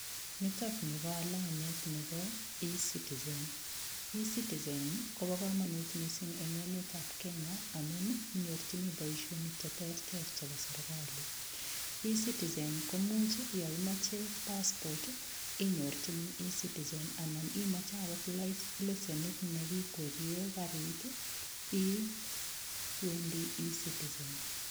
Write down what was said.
Nitok ni ko alamet nebo eCitizen, eCitizen koba kamanut mising eng emetab Kenya amun inyorchini boisionik cheterter chebo serkali. ECitizen, komuch yo imoche passport, inyorchini eCitizen anan imoche agot lesienit ne kikwerie karit, iwendi eCitizen.